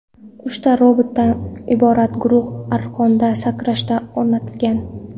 Uchta robotdan iborat guruh arqonda sakrashga o‘rnatilgan.